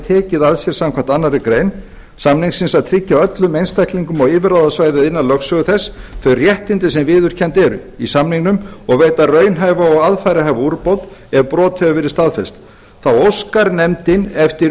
tekið að sér samkvæmt annarri grein samningsins að tryggja öllum einstaklingum á yfirráðasvæði innan lögsögu þess þau réttindi sem viðurkennd eru í samningnum og veita raunhæfa og aðfararhæfa úrbót ef brotið hefur verið staðfest þá óskar nefndin eftir